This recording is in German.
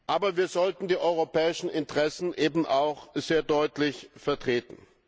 Aber wir sollten die europäischen Interessen auch sehr deutlich vertreten.